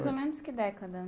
Mais ou menos que década?